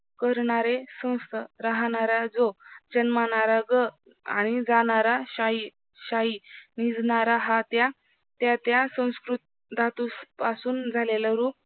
करणारे संस्थ राहणारा जो जन्मणारा ग आणि जाणारा शाही, शाही निजणारा हा त्या त्यात्या धातुपासून झालेल. रूप